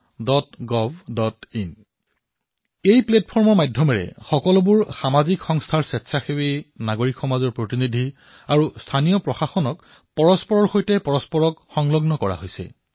চৰকাৰে এই প্লেটফৰ্মৰ জৰিয়তে বিভিন্ন সামাজিক সংস্থাৰ স্বেচ্ছাসেৱী সমাজ প্ৰতিনিধি আৰু স্থানীয় প্ৰশাসনত একত্ৰিত কৰিছে